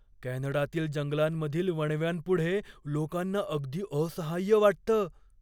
कॅनडातील जंगलांमधील वणव्यांपुढे लोकांना अगदी असहाय्य वाटतं.